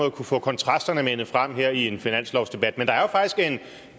at kunne få kontrasterne manet frem i en finanslovsdebat men der er faktisk en